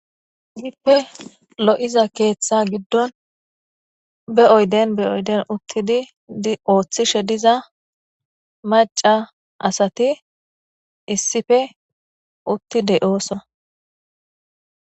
hippe lo7iza keeththa giddon be7oyden be oyden uttidi di ooththishe diza maca asati issife uttide ooso